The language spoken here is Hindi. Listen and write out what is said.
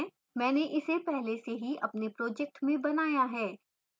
मैंने इसे पहले से ही अपने project में बनाया है